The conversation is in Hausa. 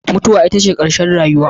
Mutuwa ita ce ƙarshen rayuwa